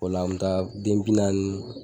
O la an me taa den bi naani